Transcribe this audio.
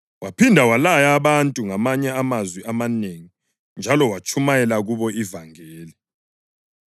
Waphinda walaya abantu ngamanye amazwi amanengi njalo watshumayela kubo ivangeli.